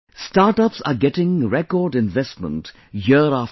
Startups are getting record investment year after year